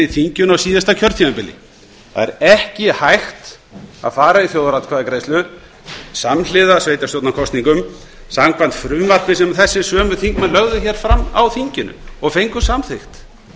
þinginu á síðasta kjörtímabili það er ekki hægt að fara í þjóðaratkvæðagreiðslu samhliða sveitarstjórnarkosningum samkvæmt frumvarpi sem þessir sömu þingmenn lögðu hér fram á þinginu og fengu samþykkt